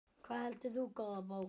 Hvað heldur þú, góða bók?